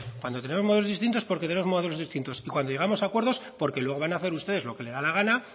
cuando tenemos modelos distintos porque tenemos modelos distintos y cuando llegamos a acuerdos porque luego van hacer ustedes lo que les da la gana